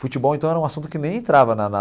Futebol, então, era um assunto que nem entrava na na.